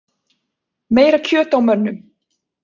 Meira kjöt á mönnum